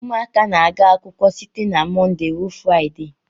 Ụmụaka na-aga akwụkwọ site na Mọnde ruo Fraịde.